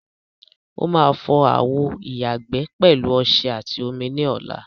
Ó máa fọ àwo ìyàgbẹ́ pẹ̀lú ọṣẹ àti omi ní ọla.